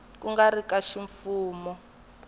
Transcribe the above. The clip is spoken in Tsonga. ku nga ri ka ximfumo